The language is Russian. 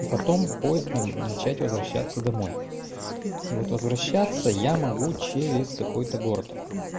и потом поездом начать возвращаться домой и вот возвращаться я могу через какой-то город